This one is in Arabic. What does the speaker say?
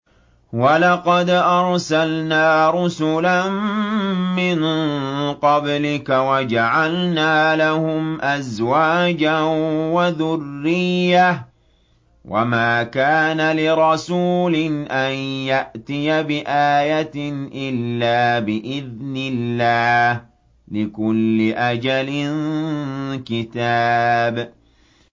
وَلَقَدْ أَرْسَلْنَا رُسُلًا مِّن قَبْلِكَ وَجَعَلْنَا لَهُمْ أَزْوَاجًا وَذُرِّيَّةً ۚ وَمَا كَانَ لِرَسُولٍ أَن يَأْتِيَ بِآيَةٍ إِلَّا بِإِذْنِ اللَّهِ ۗ لِكُلِّ أَجَلٍ كِتَابٌ